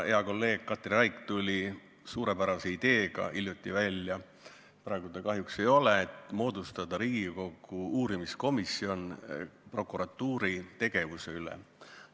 Hea kolleeg Katri Raik – praegu teda kahjuks ei ole – nimelt tuli hiljuti välja suurepärase ideega moodustada Riigikogu uurimiskomisjon prokuratuuri tegevuse kontrollimiseks.